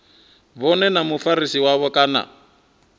vhone na mufarisi wavho kana